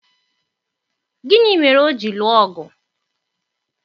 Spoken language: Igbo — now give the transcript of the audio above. gịnị mere o ji lụọ ọgụ?